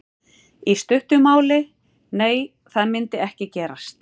Í stuttu máli: Nei það myndi ekki gerast.